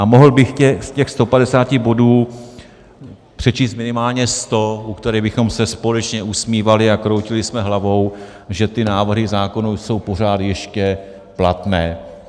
A mohl bych z těch 150 bodů přečíst minimálně 100, u kterých bychom se společně usmívali a kroutili bychom hlavou, že ty návrhy zákonů jsou pořád ještě platné.